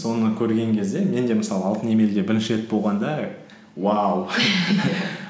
соны көрген кезде мен де мысалы алтын емелде бірінші рет болғанда уау